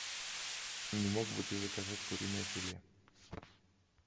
не мог бы ты заказать куриное филе